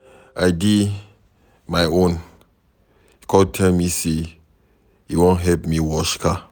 I dey my own he come tell me say he wan help me wash car.